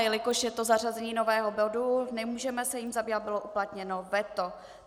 Jelikož je to zařazení nového bodu, nemůžeme se jím zabývat, bylo uplatněno veto.